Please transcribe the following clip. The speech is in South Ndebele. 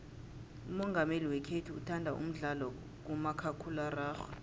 umongameli wekhethu uthanda umdlalo kamakhakhulararhwe